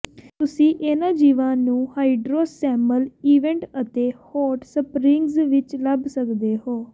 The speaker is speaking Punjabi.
ਤੁਸੀਂ ਇਹਨਾਂ ਜੀਵਾਂ ਨੂੰ ਹਾਈਡ੍ਰੋਸੈਮਲ ਵਿੈਂਟ ਅਤੇ ਹੌਟ ਸਪ੍ਰਿੰਗਜ਼ ਵਿੱਚ ਲੱਭ ਸਕਦੇ ਹੋ